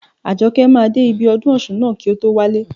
Àjọkẹ́ máa dé ibi ọdún ọ̀ṣun ná kí o tó wálé.